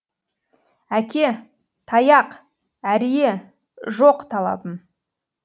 әке таяқ әрие жоқ талабым